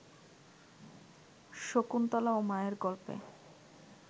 শকুন্তলাও মায়ের গল্পে